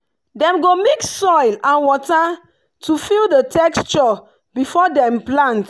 dem go mix soil and water to feel the texture before dem plant.